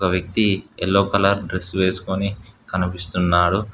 ఒక వ్యక్తి yellow colour dress వేసుకుని కనిపిస్తున్నాడు.